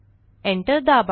Enterदाबा